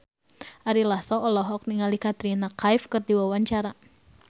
Ari Lasso olohok ningali Katrina Kaif keur diwawancara